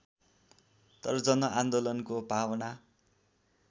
तर जनआन्दोलनको भावना